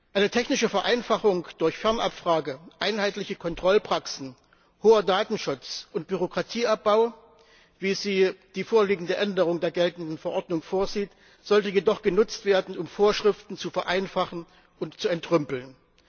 Eine technische Vereinfachung durch Fernabfrage, einheitliche Kontrollpraxen, hohen Datenschutz und Bürokratieabbau, wie sie die vorliegende Änderung der geltenden Verordnung vorsieht, sollte jedoch genutzt werden, um Vorschriften zu vereinfachen und zu entrümpeln.